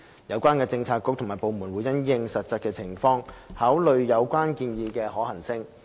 相關政策局及部門會因應實際情況，考慮有關建議的可行性。